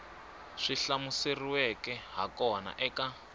swi hlamuseriweke ha kona eka